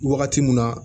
Wagati mun na